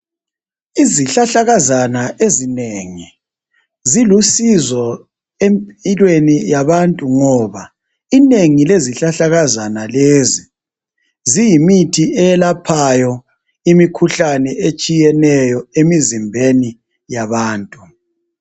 Izihlahlakazana ezinengi zilusizo empilweni yabantu ngoba inengi lezihlahlakazana lezi ziyimithi eyelaphayo imikhuhlane etshiyeneyo emizimbeni yabantu.